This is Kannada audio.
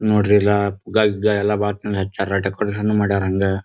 ನೋಡ್ರಿ ಎಲ್ಲ ಎಲ್ಲಾ ಬಹಳ ಚೆಂದ ಹಚ್ಯಾರ ಡೆಕೋರೇಶನು ಮಾಡ್ಯಾರ ಹಂಗ.